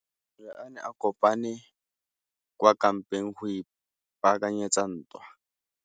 Masole a ne a kopane kwa kampeng go ipaakanyetsa ntwa.